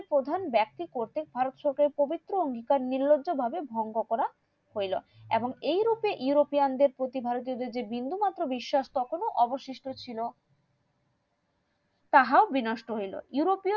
প্রধান বেক্তি করতে ভারত সরকার পবিত্র নির্লজ্জ ভাবে ভঙ্গ করা হইলো এবং এই রূপে ইউরোপিয়ান দেড় প্রতি ভারতীয় দেড় ওপর যে বিন্দু মাত্র বিশ্বাস তখন অবশিষ্ট ছিল তাহাও বিনষ্ট হইলো